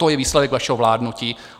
To je výsledek vašeho vládnutí.